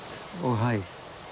og hæð